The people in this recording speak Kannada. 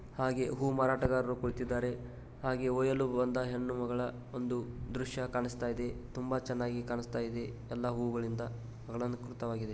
ಹಾಗೆ ಹೂ ಮಾರಾಟಗಾರರು ಕೂಳಿತಿದ್ದಾರೆ ಹಾಗೆ ಒಯಲು ಬಂದ ಹೆಣ್ಣು ಮಗಳ ಒಂದು ದೃಶ್ಯ ಕಾಣಿಸ್ತಾ ಇದೆ ತುಂಬಾ ಚೆನ್ನಾಗಿ ಕಾಣಿಸ್ತಾ ಇದೆ ಎಲ್ಲ ಹೂಗಳಿಂದ ಅಲಂಕೃತವಾಗಿದೆ.